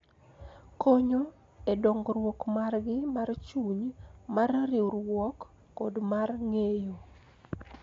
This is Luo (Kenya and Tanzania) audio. Konyo e dongruok margi mar chuny, mar riwruok, kod mar ng�eyo